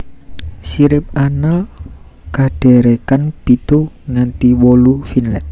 Sirip anal kadherekan pitu nganti wolu finlet